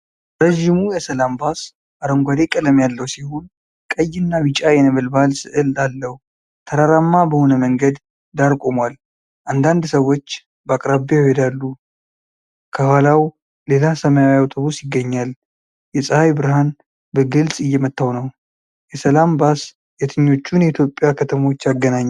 ረዥሙ የሰላም ባስ አረንጓዴ ቀለም ያለው ሲሆን ቀይና ቢጫ የነበልባል ስዕል አለው። ተራራማ በሆነ መንገድ ዳር ቆሟል። አንዳንድ ሰዎች በአቅራቢያው ይሄዳሉና ከኋላው ሌላ ሰማያዊ አውቶብስ ይገኛል። የፀሐይ ብርሃን በግልጽ እየመታው ነው። የሰላም ባስ የትኞቹን የኢትዮጵያ ከተሞች ያገናኛል?